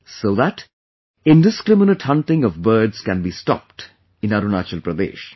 So that indiscriminate hunting of birds can be stopped in Arunachal Pradesh